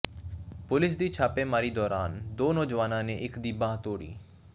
police ਦੀ ਛਾਪੇਮਾਰੀ ਦੌਰਾਨ ਦੋ ਨੌਜਵਾਨਾਂ ਨੇ ਇਕ ਦੀ ਬਾਂਹ ਤੋੜੀ